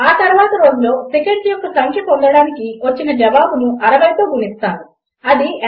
ఆ తర్వాత రోజులో సెకండ్స్ యొక్క సంఖ్య పొందడానికి వచ్చిన జవాబును 60తో గుణిస్తాను అది 86400